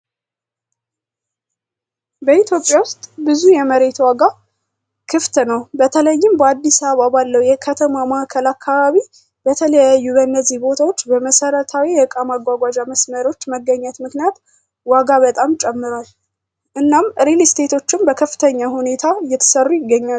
በኢትዮጵያ ውስጥ ብዙ የመሬት ዋጋ ክፍት ነው። በተለይም በአዲስ አበባ ባለው የከተማ ማዕከል አካባቢ በተለያዩ በእነዚህ ቦታዎች በመሰረታዊ የእቃ ማጓጓዣ መስመሮች መገኘት ምክንያት ዋጋ በጣም ጨምሯል። እናም ሪልስቴቶችም በከፍተኛ ሁኔታ እየተሰሩ ይገኛሉ።